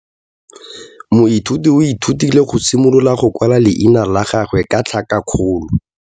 Moithuti o ithutile go simolola go kwala leina la gagwe ka tlhakakgolo.